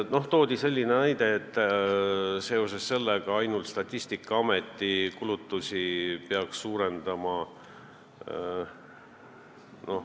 Märgiti, et seoses sellega peaks Statistikaameti rahastamist suurendama.